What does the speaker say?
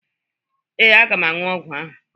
Ee, aga m aṅụ ọgwọ ahụ.